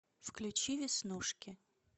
включи веснушки